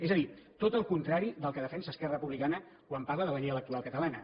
és a dir tot el contrari del que defensa esquerra republicana quan parla de la llei electoral catalana